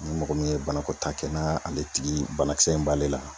Ni mɔgɔ min ye banako taa kɛ, n'a ale tigi banakisɛ in b'ale la